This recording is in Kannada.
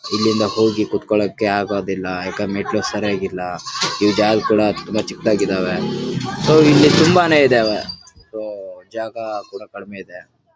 ಇಲ್ಲಿಂದ ಹೋಗಿ ಕುತ್ತಕೊಳಕ್ಕೆ ಆಗುದಿಲ್ಲಾ. ಯಾಕಂದ್ರೆ ಮೆಟ್ಟಲುಗಳು ಸರಿಯಾಗಿಲ್ಲಾ. ಈ ಜಾಗ್ಗಳ ತುಂಬಾ ಚಿಕ್ಕದಾಗಿ ಇದ್ದವೆ. ಸೊ ಇಲ್ಲಿ ತುಂಬಾನೇ ಇದವೆ ಸೊ ಜಾಗ ಕೂಡ ಕಡಿಮೆ ಇದೆ.